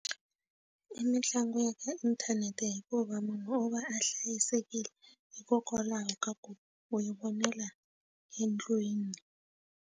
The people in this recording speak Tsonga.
I mitlangu ya ka inthanete hikuva munhu o va a hlayisekile hikokwalaho ka ku u yi vonela endlwiniI.